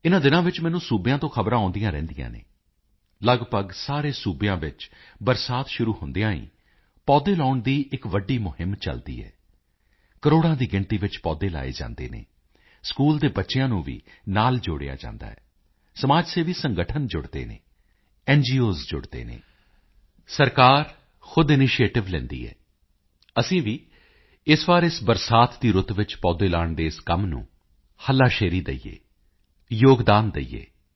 ਇਨਾਂ ਦਿਨਾਂ ਵਿੱਚ ਮੈਨੂੰ ਸੂਬਿਆਂ ਤੋਂ ਖ਼ਬਰਾਂ ਆਉਦੀਆਂ ਰਹਿੰਦੀਆਂ ਹਨ ਲੱਗਭਗ ਸਾਰੇ ਸੂਬਿਆਂ ਵਿੱਚ ਬਰਸਾਤ ਸ਼ੁਰੂ ਹੁੰਦਿਆਂ ਹੀ ਪੌਦੇ ਲਗਾਉਣ ਦੀ ਇੱਕ ਵੱਡੀ ਮੁਹਿੰਮ ਚੱਲਦੀ ਹੈ ਕਰੋੜਾਂ ਦੀ ਗਿਣਤੀ ਵਿੱਚ ਪੌਦੇ ਲਗਾਏ ਜਾਂਦੇ ਹਨ ਸਕੂਲ ਦੇ ਬੱਚਿਆਂ ਨੂੰ ਵੀ ਨਾਲ ਜੋੜਿਆ ਜਾਂਦਾ ਹੈ ਸਮਾਜ ਸੇਵੀ ਸੰਗਠਨ ਜੁੜਦੇ ਹਨ ਨਗੋਸ ਜੁੜਦੇ ਹਨ ਸਰਕਾਰ ਖੁਦ ਇਨੀਸ਼ੀਏਟਿਵ ਲੈਂਦੀ ਹੈ ਅਸੀਂ ਵੀ ਇਸ ਵਾਰੀ ਇਸ ਬਰਸਾਤ ਦੀ ਰੁੱਤ ਵਿੱਚ ਪੌਦੇ ਲਾਉਣ ਦੇ ਇਸ ਕੰਮ ਨੂੰ ਹੱਲਾਸ਼ੇਰੀ ਦਈਏ ਯੋਗਦਾਨ ਦਈਏ